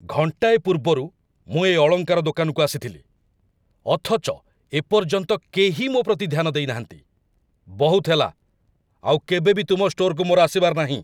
ଘଣ୍ଟାଏ ପୂର୍ବରୁ ମୁଁ ଏ ଅଳଙ୍କାର ଦୋକାନକୁ ଆସିଥିଲି, ଅଥଚ ଏ ପର୍ଯ୍ୟନ୍ତ କେହି ମୋ ପ୍ରତି ଧ୍ୟାନ ଦେଇନାହାନ୍ତି। ବହୁତ ହେଲା, ଆଉ କେବେ ବି ତୁମ ଷ୍ଟୋରକୁ ମୋର ଆସିବାର ନାହିଁ ।